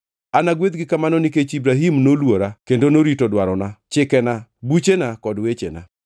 Anagwedhgi kamano nikech Ibrahim noluora kendo norito dwarona, chikena, buchena kod wechena.”